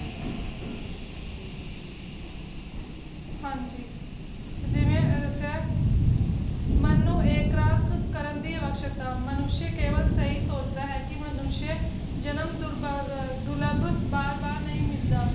ਹਾਂਜੀ ਤੇ ਜਿਵੇ ਦੱਸਿਆ ਮਨ ਨੂੰ ਐਕਰਾਗ ਕਰਨ ਦੀ ਅਵਸ਼ਯਕਤਾ ਮਾਨੁਸ਼ਯ ਕੇਵਲ ਸਹੀ ਸੋਚਦਾ ਹੈ ਕੇ ਮਾਨੁਸ਼ਯ ਜਨਮ ਦੁਰਭਗ ਦੁਰਲੱਭ ਬਾਰ ਬਾਰ ਨਹੀਂ ਮਿਲਦਾ